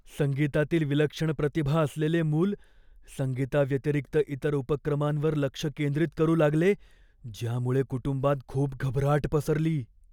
संगीतातील विलक्षण प्रतिभा असलेले मूल संगीताव्यतिरिक्त इतर उपक्रमांवर लक्ष केंद्रित करू लागले, ज्यामुळे कुटुंबात खूप घबराट पसरली.